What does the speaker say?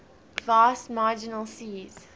vast marginal seas